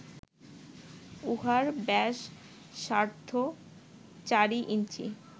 উহার ব্যাস সার্দ্ধ চারি ইঞ্চি